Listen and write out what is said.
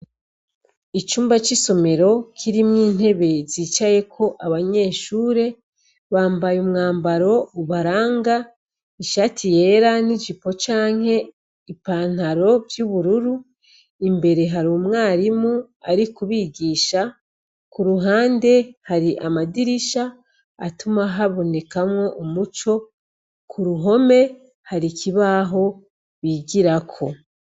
Icumba c'isomero kirimwo intebe zicayeko abanyeshure bambaye umwambaro ubaranga ishati yera n'ijipo canke ipantaro vy'ubururu, imbere hari umwarimu ari kubigisha ku ruhande hari amadirisha atuma habonekamwo umuco ku ruhome hari ikibaho bigirako.